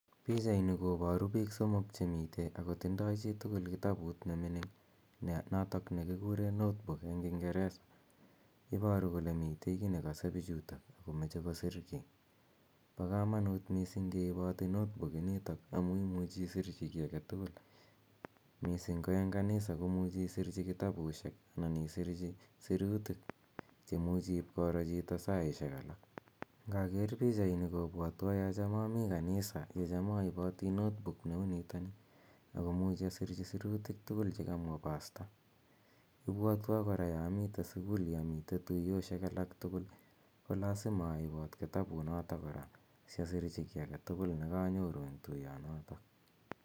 Pichaini koparu piik somok che mitei ako tindai chi age tugul kitabut ne mining' notok ne kikure notebook eng' kingeresa. Iparu kole mitei ki ne kase pichutok ako mache kosrchi. Po kamanut missing' ke ipati notebook initok amu imuchi ki age tugul, missing' ko eng kanisa ko muchi isirchi kitabusiek anan isirchi siruutik che imuchi ipkoro chito saishek alak. Ngaker pichaini kopwatwa ya cham ami kanisa , ye cham aipati notebook ne u nitani ako muchi asirchi sirutiik tugul che kamwa pasta. Ipwatwa kora ya amitei sukul ya mitei tuyoshek alak tugul ko lasima aipat kotabunotok kora si asirchi ki age tugul ne kanyoru eng' tuyonotok